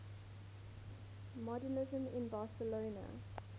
modernisme in barcelona